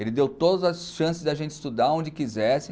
Ele deu todas as chances da gente estudar onde quisesse.